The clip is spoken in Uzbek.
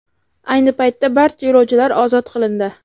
Ayni paytda barcha yo‘lovchilar ozod qilindi .